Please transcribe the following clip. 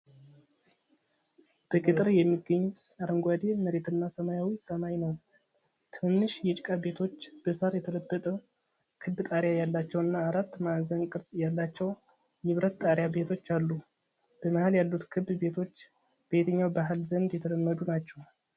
በገጠር የሚገኝ አረንጓዴ መሬትና ሰማያዊ ሰማይ ነው። ትንንሽ የጭቃ ቤቶች በሳር የተለበጠ ክብ ጣሪያ ያላቸውና አራት ማዕዘን ቅርጽ ያላቸው የብረት ጣሪያ ቤቶች አሉ። በመሃል ያሉት ክብ ቤቶች በየትኛው ባህል ዘንድ የተለመዱ ናቸው?